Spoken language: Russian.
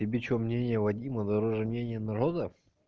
тебе что мнение вадима дороже мнение народа